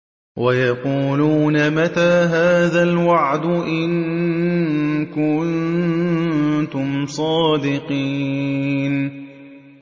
وَيَقُولُونَ مَتَىٰ هَٰذَا الْوَعْدُ إِن كُنتُمْ صَادِقِينَ